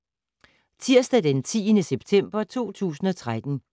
Tirsdag d. 10. september 2013